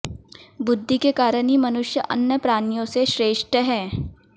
बुद्धि के कारण ही मनुष्य अन्य प्राणियों से श्रेष्ठ है